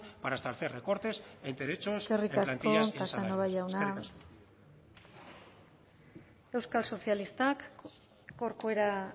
para establecer recortes en derechos de plantillas eskerrik asko eskerrik asko casanova jauna euskal sozialistak corcuera